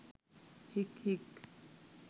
හික් හික්